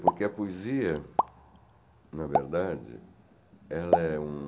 Porque a poesia, na verdade, ela é um